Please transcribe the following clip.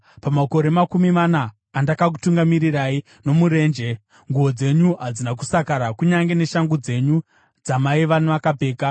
Pamakore makumi mana andakakutungamirirai nomurenje, nguo dzenyu hadzina kusakara, kunyange neshangu dzenyu dzamaiva makapfeka.